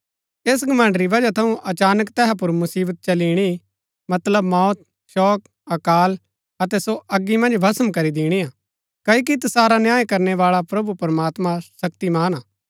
ऐस घमण्ड़ री वजह थऊँ अचानक तैहा पुर मुसिवता चली इणी मतलब मौत शोक अकाल अतै सो अगी मन्ज भस्म करी दिणी हा क्ओकि तसारा न्याय करणै बाळा प्रभु प्रमात्मां शक्तिमान हा